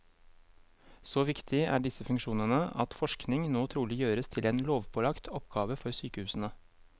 Så viktig er disse funksjonene at forskning nå trolig gjøres til en lovpålagt oppgave for sykehusene.